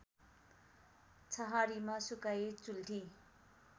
छहारीमा सुकाई चुल्ठी